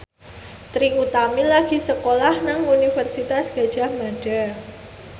Trie Utami lagi sekolah nang Universitas Gadjah Mada